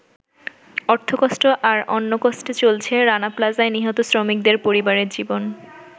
অর্থকষ্ট আর অন্নকষ্টে চলছে রানা প্লাজায় নিহত শ্রমিকদের পরিবারের জীবন।